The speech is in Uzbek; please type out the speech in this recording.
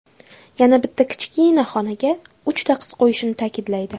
Yana bitta kichkina xonaga uchta qiz qo‘yishini ta’kidlaydi.